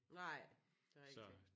Nej det er rigtigt